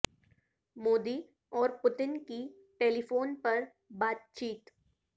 مودی اور پوٹن کی telephone پر بات چیت